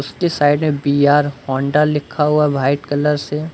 उसके साइड में बी_आर होंडा लिखा हुआ व्हाइट कलर से।